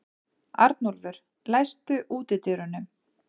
Arnúlfur, læstu útidyrunum.